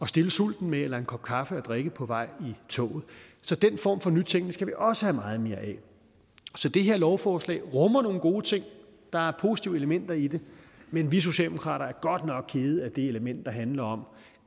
stille sulten med eller en kop kaffe at drikke på vej i toget så den form for nytænkning skal vi også have meget mere af så det her lovforslag rummer nogle gode ting der er positive elementer i det men vi socialdemokrater er godt nok kede af det element der handler om